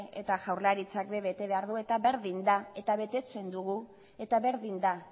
eta jaurlaritzak ere bete behar du eta berdin da eta betetzen dugu eta berdin da